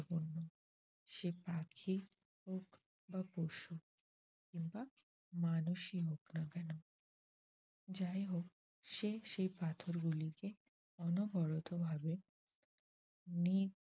সে পাখি হোক বা পশু কিংবা মানুষই হোক না কেন? যাই হোক সে সে পাথরগুলিকে অনবরত ভাবে